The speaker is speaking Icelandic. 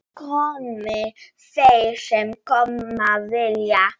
Komi þeir sem koma vilja.